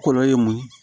Kɔlɔ ye mun ye